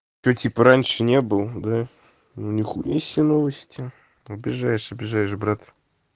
ты типа раньше не был да ну нихуя себе новости обижаешь обижаешь брат